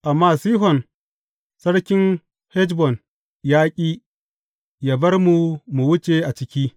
Amma Sihon sarkin Heshbon ya ƙi yă bar mu mu wuce a ciki.